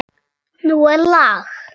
Nú er lag!